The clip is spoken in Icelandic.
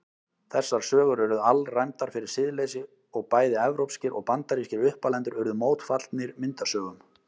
Þessar sögur urðu alræmdar fyrir siðleysi og bæði evrópskir og bandarískir uppalendur urðu mótfallnir myndasögum.